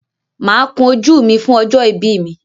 Máa kun ojú mi fún ọjọ́ ìbí mi.